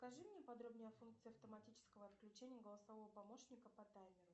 покажи мне подробнее о функции автоматического отключения голосового помощника по таймеру